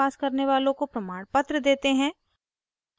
• online test pass करने वालों को प्रमाणपत्र देते हैं